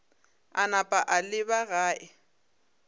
a napa a leba gae